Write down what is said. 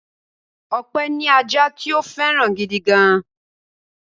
Ọpẹ́ ní ajá tí ó fẹ́ràn gidi gan-an.